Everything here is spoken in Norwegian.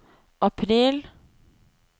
april